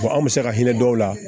Ko anw bɛ se ka hinɛ dɔw la